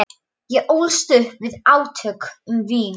Ég ólst upp við átök um vín.